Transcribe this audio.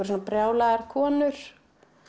svona brjálaðar konur